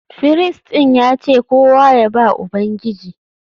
Firist ɗin ya ce kowa ya ba Ubangiji